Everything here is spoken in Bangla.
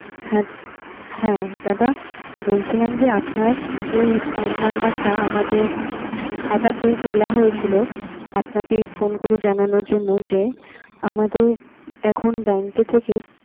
হ্যাঁ, হ্যাঁ দাদা বলছিলাম যে আপনার এই phone নাম্বারটা আমাদের খাতাতে তোলা হয়েছিল। আপনাকে phone করে জানানোর যে, আমাদের এখন bank এ থেকে